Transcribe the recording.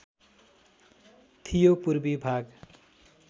थियो पूर्वी भाग